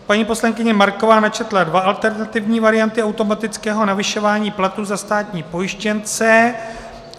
Paní poslankyně Marková načetla dvě alternativní varianty automatického navyšování plateb za státní pojištěnce.